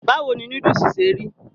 báwo ni núdùsì ṣe rí?